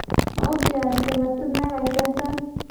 Ma u diyaarisay martida meel ay seexdaan?